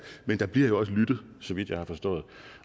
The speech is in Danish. men der bliver jo også lyttet så vidt jeg har forstået